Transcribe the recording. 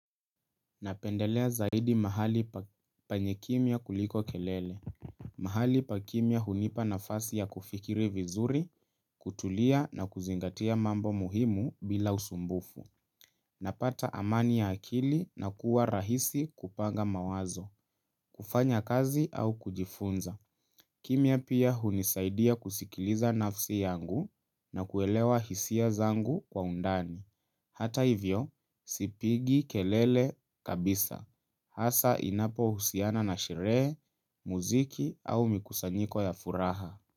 Napendelea zaidi mahali penye kimya kuliko kelele. Mahali pa kimya hunipa nafasi ya kufikiri vizuri, kutulia na kuzingatia mambo muhimu bila usumbufu. Napata amani ya akili na kuwa rahisi kupanga mawazo, kufanya kazi au kujifunza. Kimya pia hunisaidia kusikiliza nafsi yangu na kuelewa hisia zangu kwa undani. Hata hivyo, sipigi kelele kabisa. Hasa inapohusiana na sherehe, muziki au mikusanyiko ya furaha.